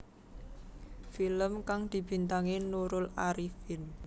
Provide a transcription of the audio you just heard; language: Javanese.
Film kang dibintangi Nurul Arifin